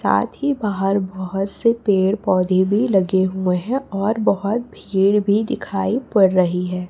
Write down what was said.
साथ ही बाहर बहोत से पेड़ पौधे भी लगे हुए हैं और बहोत भीड़ भी दिखाई पड़ रही है।